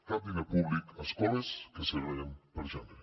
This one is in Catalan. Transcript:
cap diner públic a escoles que segreguen per gènere